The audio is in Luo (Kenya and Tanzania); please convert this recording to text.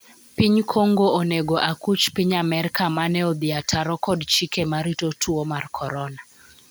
Piny Kongo onego akuch Piny Amerka mane odhi ataro kod chike marito tuo mar Korona